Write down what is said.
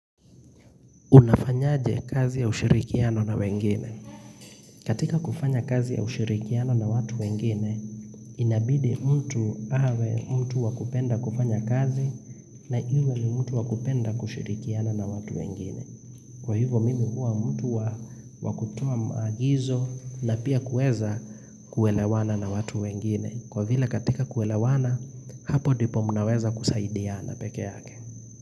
Unafanyaje kazi ya ushirikiano na wengine. Katika kufanya kazi ya ushirikiano na watu wengine, inabidi mtu awe mtu wakupenda kufanya kazi na iwe ni mtu wakupenda kushirikiana na watu wengine. Kwa hivyo mimi huwa mtu wakutoa maagizo na pia kuweza kuelewana na watu wengine. Kwa vile katika kuelewana, hapo ndipo mnaweza kusaidiana peke yake.